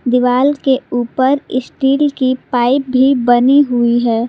दीवाल के ऊपर स्टील की पाइप भी बनी हुई है।